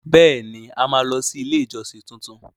Bẹẹni! A máa lọ sí ilé ìjọsìn tuntun.